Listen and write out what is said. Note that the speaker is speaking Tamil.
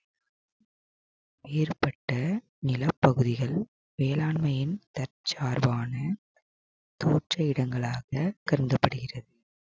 ஏற்பட்ட நிலப்பகுதிகள் வேளாண்மையின் தற்சார்பான தோற்ற இடங்களாக கருதப்படுகிறது